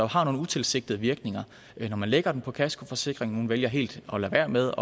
har nogle utilsigtede virkninger når man lægger den på kaskoforsikringen vælger helt at lade være med